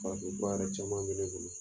caman bɛ ne bolo.